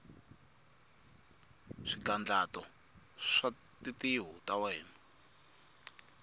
swigandlato swa tintiho ta wena